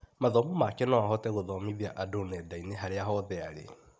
Mathomo make no ahote gũthomithia andũ nenda-inĩ harĩa hothe arĩ.